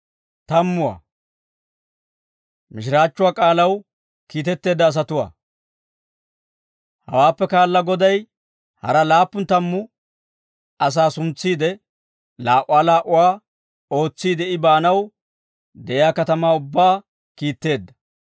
Hawaappe kaala Goday hara laappun tammu asaa suntsiide laa"uwaa laa"uwaa ootsiide I baanaw de'iyaa katamaa ubbaa kiitteedda.